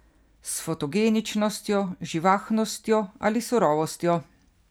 S fotogeničnostjo, živahnostjo ali surovostjo.